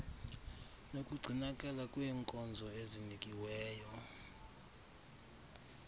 nokugcinakala kwenkonzo ezinikiweyo